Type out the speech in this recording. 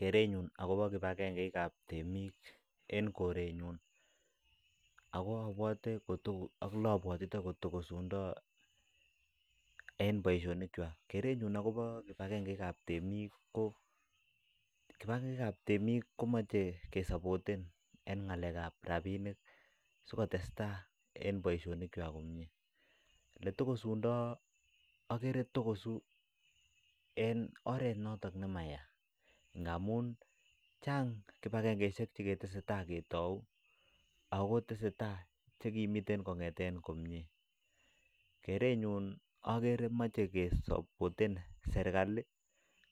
Keretnyuun agobo kibagengei ii ab temiik en korenyuun ak ole abwatitoi kotokusundoi keretnyuun agobo kibangengei ii kaap temiik ko kibangengei ab temiik komachei kesapoten en ngalek ab rapinik sikotestai en boisionik kwak komyei ole tokosundai agere togosuu en oret notooñ ne mayaa ngamuun kibangengei isheek che ke tesetai ketoi ako tesetai che ki miten komyei keretnyuun agere mache kesapoten serikali